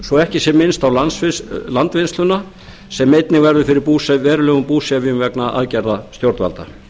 svo ekki sé minnst á landvinnsluna sem einnig verður fyrir verulegum búsifjum vegna aðgerða stjórnvalda